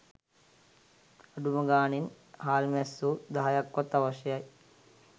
අඩුම ගණනේ හාල්මැස්සො දහයක්වත් අවශ්‍යයි